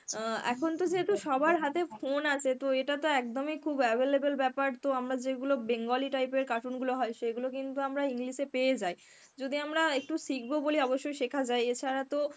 অ্যাঁ এখনতো যেহেতু সবার হাতে phone আছে তো এটা তো একদমই খুব available ব্যাপার তো আমারা যেগুলো Bengali type এর cartoon গুলো হয় সেইগুলো কিন্তু আমরা English এ পেয়ে যাই. যদি আমরা একটু শিখব বলি অবশ্যই শেখা যায়. এছাড়া তো